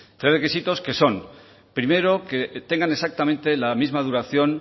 tres requisitos que son primero que tengan exactamente la misma duración